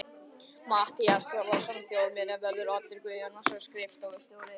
Matthías Þórðarson þjóðminjavörður, Oddur Guðjónsson, skrifstofustjóri